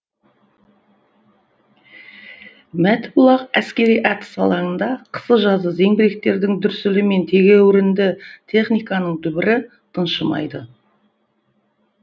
мәтібұлақ әскери атыс алаңында қысы жазы зеңбіректердің дүрсілі мен тегеурінді техниканың дүбірі тыншымайды